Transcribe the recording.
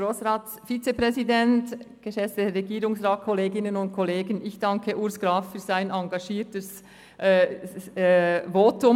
Ich danke Grossrat Urs Graf für sein engagiertes Votum.